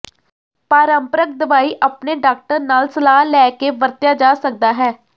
ਪਾਰੰਪਰਕ ਦਵਾਈ ਆਪਣੇ ਡਾਕਟਰ ਨਾਲ ਸਲਾਹ ਲੈ ਕੇ ਵਰਤਿਆ ਜਾ ਸਕਦਾ ਹੈ